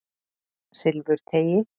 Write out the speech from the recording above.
Silfurteigi